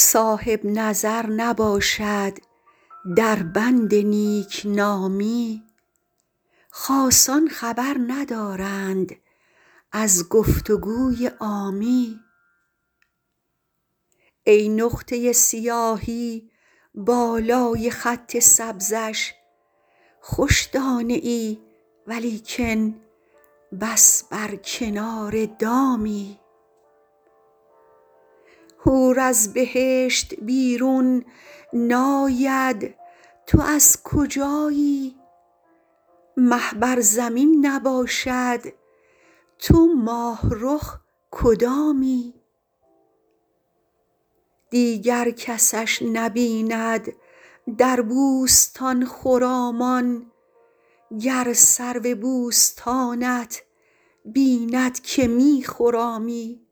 صاحب نظر نباشد در بند نیک نامی خاصان خبر ندارند از گفت و گوی عامی ای نقطه سیاهی بالای خط سبزش خوش دانه ای ولیکن بس بر کنار دامی حور از بهشت بیرون ناید تو از کجایی مه بر زمین نباشد تو ماه رخ کدامی دیگر کسش نبیند در بوستان خرامان گر سرو بوستانت بیند که می خرامی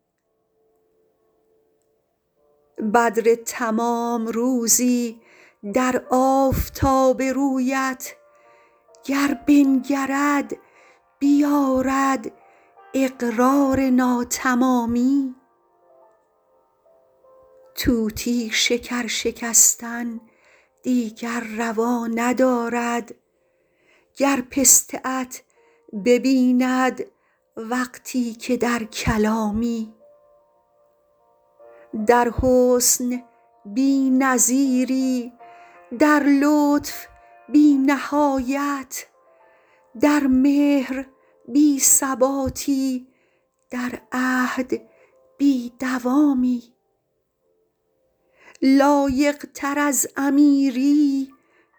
بدر تمام روزی در آفتاب رویت گر بنگرد بیآرد اقرار ناتمامی طوطی شکر شکستن دیگر روا ندارد گر پسته ات ببیند وقتی که در کلامی در حسن بی نظیری در لطف بی نهایت در مهر بی ثباتی در عهد بی دوامی لایق تر از امیری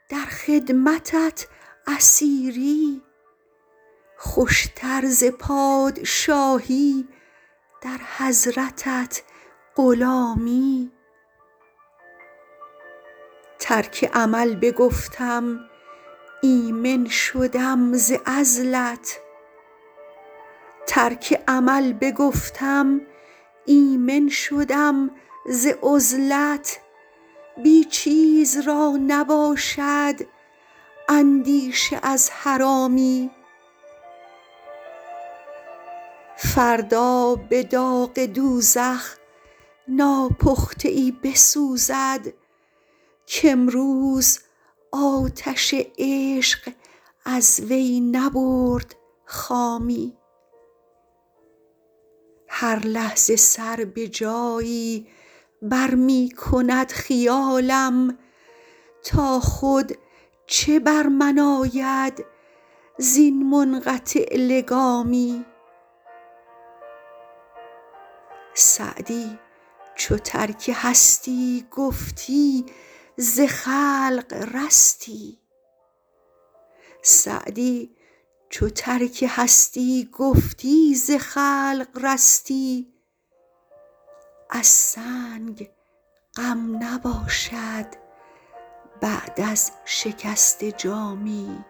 در خدمتت اسیری خوش تر ز پادشاهی در حضرتت غلامی ترک عمل بگفتم ایمن شدم ز عزلت بی چیز را نباشد اندیشه از حرامی فردا به داغ دوزخ ناپخته ای بسوزد کامروز آتش عشق از وی نبرد خامی هر لحظه سر به جایی بر می کند خیالم تا خود چه بر من آید زین منقطع لگامی سعدی چو ترک هستی گفتی ز خلق رستی از سنگ غم نباشد بعد از شکسته جامی